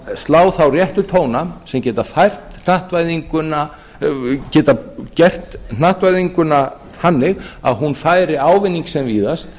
að slá þá réttu tóna sem geta gert hnattvæðinguna þannig að hún færi ávinning sinn sem víðast